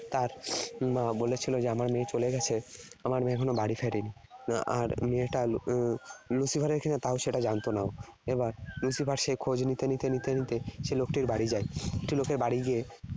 তার উম মা বলেছিল যে আমার মেয়ে চলে গেছে, আমার মেয়ে এখনও বাড়ি ফেরেনি। আর মেয়েটা আহ Lucifer এর কিনা তাও সেটা জানত না ও। এবার Lucifer সে খোঁজ নিতে নিতে নিতে নিতে সেই লোকটির বাড়ি যায়। লোকের বাড়ি গিয়ে